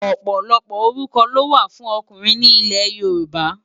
Òpòlòpò órúkò ló wá fùn òkúnrin ni Ilè Yoruba